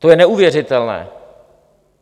To je neuvěřitelné.